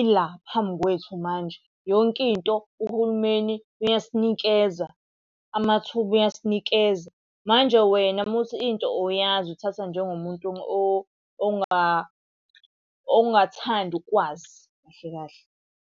ila phambi kwethu manje, yonke into uhulumeni uyasinikeza, amathuba uyasinikeza. Manje wena uma uthi into awuyazi uthathwa njengomuntu ongathandi ukwazi kahle kahle.